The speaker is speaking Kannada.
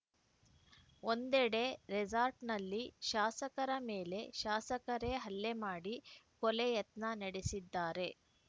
ಒಂದೆಡೆ ರೆಸಾರ್ಟ್‌ನಲ್ಲಿ ಶಾಸಕರ ಮೇಲೆ ಶಾಸಕರೇ ಹಲ್ಲೆ ಮಾಡಿ ಕೊಲೆ ಯತ್ನ ನಡೆಸಿದ್ದಾರೆ